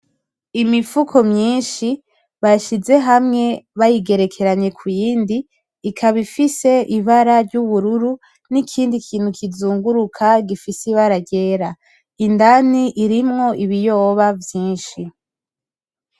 Imifuko myinshi bashize hamwe bayigerekanye ku yindi ikaba ifise ibara ry’ubururu n’ikindi kintu kizunguruka gifise ibara ry’era. Indani irimwo ibiyoba vyinshi.